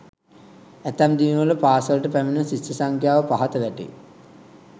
ඇතැම් දිනවල පාසලට පැමිණෙන ශිෂ්‍ය සංඛ්‍යාව පහත වැටේ.